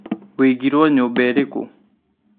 Wĩigĩrwo nyũmba ĩrĩkũ?